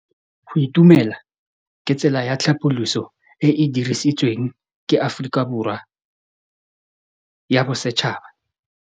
Go itumela ke tsela ya tlhapolisô e e dirisitsweng ke Aforika Borwa ya Bosetšhaba.